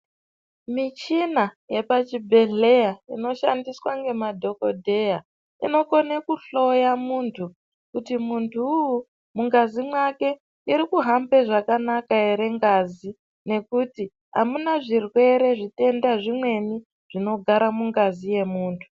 Michina yepachibhedhleya inoshandiswa ngemadhogodheya inokona kuhloya muntu kuti muntu vuvu mungazi make murikuhambe zvakanaka ere ngazi. Nekuti hamuna zvirwere zvitenda zvimweni zvinogara mungazi yemuntu.